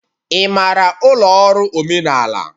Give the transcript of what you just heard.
Ị maara ụlọ ọrụ omenala?